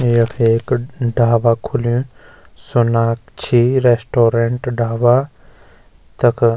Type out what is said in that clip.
यख एक ढाबा खुल्युं सोनाक्षी रेस्टोरेंट ढाबा तख --